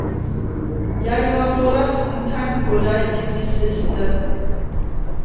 Jeg har forresten tenkt på deg i det siste.